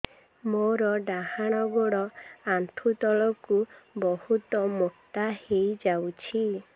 ମୋର ଡାହାଣ ଗୋଡ଼ ଆଣ୍ଠୁ ତଳକୁ ବହୁତ ମୋଟା ହେଇଯାଉଛି